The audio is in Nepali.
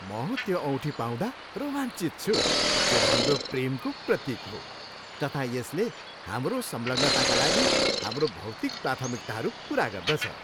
म त्यो औँठी पाउँदा रोमाञ्चित छु जुन हाम्रो प्रेमको प्रतीक हो तथा यसले हाम्रो सङ्लग्नताका लागि हाम्रो भौतिक प्राथमिकताहरू पुरा गर्दछ।